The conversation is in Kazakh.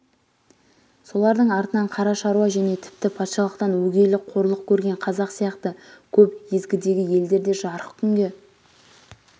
солардың артынан қара шаруа және тіпті патшалықтан өгейлік қорлық көр-ген қазақ сияқты көп езгідегі елдер де жарық күнге